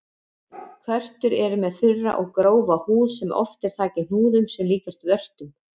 Körtur eru með þurra og grófa húð sem oft er þakin hnúðum sem líkjast vörtum.